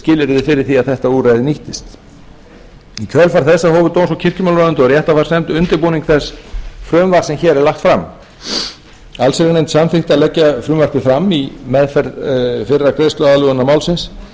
skilyrði fyrir því að þetta úrræði nýttist í kjölfar þessa hófu dóms og kirkjumálaráðuneytið og réttarfarsnefnd undirbúning þess frumvarps sem hér er lagt fram allsherjarnefnd samþykkti að leggja frumvarpið fram í meðferð fyrra greiðsluaðlögunar málsins